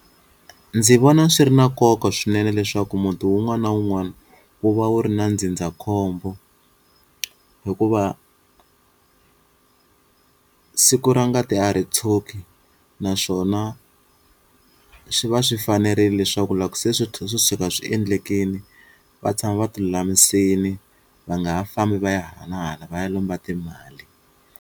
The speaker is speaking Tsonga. Ndzi vona swi ri na nkoka swinene leswaku muti wun'wana na wun'wana wu va wu ri na ndzindzakhombo hikuva siku ra ngati a ri tshuki naswona swi va swi fanerile leswaku loko se swi tlhe swi suka swi endlekini va tshama va ti lulamisini va nga ha fambi va ya hala na hala va ya lomba timali.